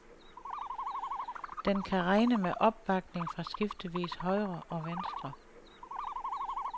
Den kan regne med opbakning fra skiftevis højre og venstre.